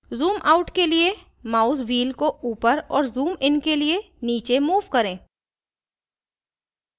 zoomout के लिए mouse wheel को ऊपर और zoomइन के लिए नीचे move करें